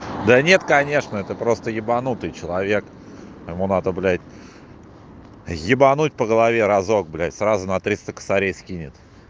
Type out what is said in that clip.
да нет конечно это просто ебанутый человек ему надо блять ебануть по голове разок блять сразу на триста косарей скинет